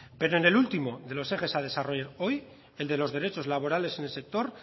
pero en el último de los ejes a desarrollar hoy el de los derechos laborales en el sector